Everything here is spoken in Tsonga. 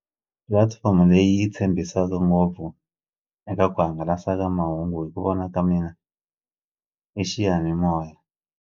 Pulatifomo leyi yi tshembisaka ngopfu eka ku hangalasa ka mahungu hi ku vona ka mina i xiyanimoya.